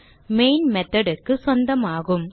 main method க்கு சொந்தமாகும்